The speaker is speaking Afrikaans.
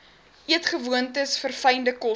eetgewoontes verfynde kosse